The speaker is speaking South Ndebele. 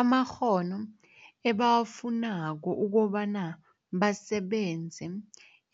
amakghono ebawafunako ukobana basebenze